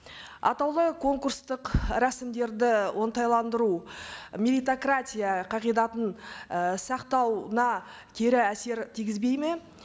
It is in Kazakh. атаулы конкурстық рәсімдерді оңтайландыру меритократия қағидатын і сақтауына кері әсер тигізбейді ме